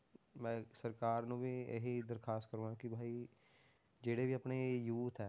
ਮੈਂ ਸਰਕਾਰ ਨੂੰ ਵੀ ਇਹੀ ਦਰਖਾਸ ਕਰੂਂਗਾ ਕਿ ਭਹੀ ਜਿਹੜੇ ਵੀ ਆਪਣੇ youth ਹੈ,